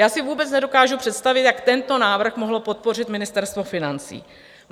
Já si vůbec nedokážu představit, jak tento návrh mohlo podpořit Ministerstvo financí.